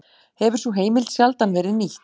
Hefur sú heimild sjaldan verið nýtt